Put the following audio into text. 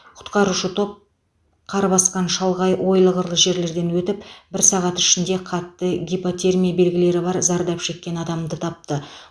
құтқарушы топ қар басқан шалғай ойлы қырлы жерлерден өтіп бір сағат ішінде қатты гипотермия белгілері бар зардап шеккен адамды тапты